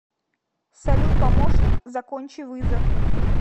салют помощник закончи вызов